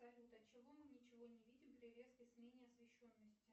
салют от чего мы ничего не видим при резкой смене освещенности